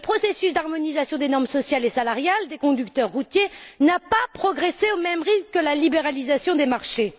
Le processus d'harmonisation des normes sociales et salariales des conducteurs routiers n'a pas progressé au même rythme que la libéralisation des marchés.